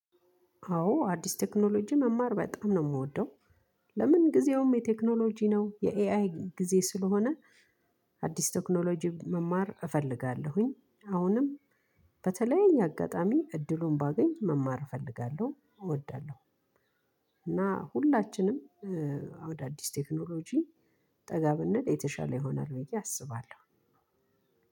አዎ አዲስ ቴክኖሎጂ መማር በጣም ነው የምወደው። ለምን ጊዜውም የቴክኖሎጂ ነው የኤአይ ጊዜ ስለሆነ። አዲስ ቴክኖሎጂ መማር እፈልጋለሁኝ አሁንም። በተለይ እኛ አጋጣሚ እድሉን ባገኝ መማር እፈልጋለሁ እወዳለሁ። እና ሁላችንም አዳዲስ ቴክኖሎጂ ጠጋ ብንል የተሻለ ይሆናል ብዬ አስባለሁ።